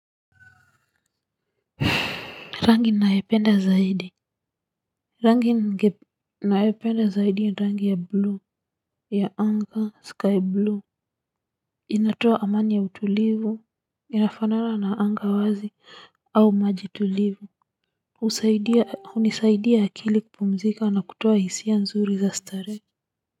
Rangi ninayopenda zaidi rangi ninayopenda zaidi ni rangi ya bluu ya anga sky bluu inatoa amani ya utulivu inafanana na anga wazi au maji tulivu hunisaidia akili kupumzika na kutoa hisia nzuri za starehe.